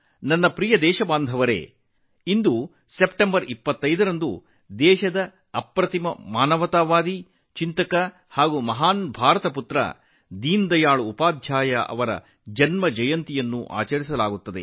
ನನ್ನ ಪ್ರೀತಿಯ ದೇಶವಾಸಿಗಳೇ ಇಂದು ಸೆಪ್ಟೆಂಬರ್ 25 ರಂದು ದೇಶದ ಅದ್ಭುತ ಮಾನವತಾವಾದಿ ಚಿಂತಕ ಮತ್ತು ಮಹಾನ್ ಪುತ್ರ ದೀನದಯಾಳ್ ಉಪಾಧ್ಯಾಯ ಅವರ ಜನ್ಮದಿನವನ್ನು ಆಚರಿಸಲಾಗುತ್ತದೆ